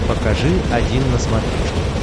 покажи один на смотрешке